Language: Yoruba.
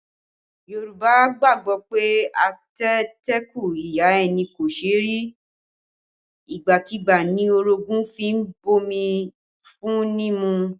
Yorùbá gbàgbọ́ pé, ateteku ìyá ẹni kò ṣe rí, igbákígbá ni orogun fi ń bomi fún ni mu